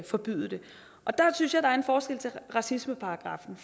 forbyde det der synes jeg der er en forskel til racismeparagraffen